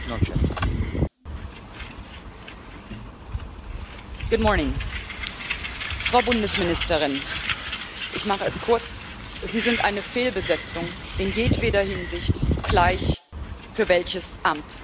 Herr Präsident! Frau Bundesministerin, ich mache es kurz Sie sind eine Fehlbesetzung in jedweder Hinsicht, gleich für welches Amt.